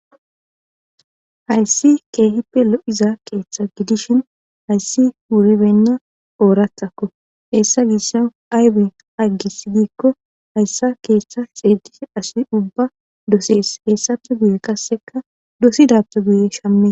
Hayssi keehippe lo7iza keeththa gidishin hayssi wuribenna ooratakko heessa gissa aybe aggis diikko hayssa keeththa xeedis asi ubba dosees heessafe guye kasseka dosidappe guye shame